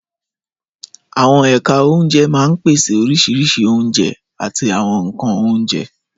Àwọn ẹ̀ka oúnjẹ máa ń pèsè oríṣiríṣi oúnjẹ àti àwọn nkan oúnjẹ.